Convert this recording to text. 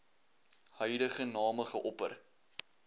huidige name geopper